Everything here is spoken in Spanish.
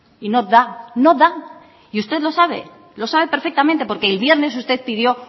y no da no da y usted lo sabe lo sabe perfectamente porque el viernes usted pidió